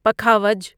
پکھاوج